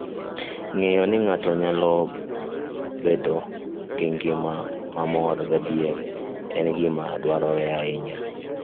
Ng'eyo ni ng'ato nyalo bedo gi ngima mamor gadier, en gima dwarore ahinya.